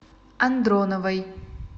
андроновой